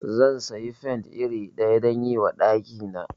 Zan siyi paint iri ɗaya dayi wa ɗaki na